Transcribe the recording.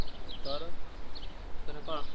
ଆଉ ତୋର ତୋର କଣ?